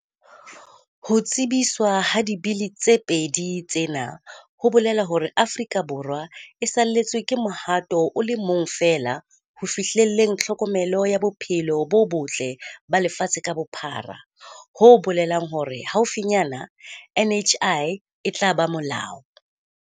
Ho tsebiswa ha Dibili tse pedi tsena ho bolela hore Aforika Borwa e salletswe ke mohato o le mong feela ho fihlelleng tlhokomelo ya bophelo bo botle ba lefatshe ka bophara ho bolelang hore haufinyana NHI e tla ba molao.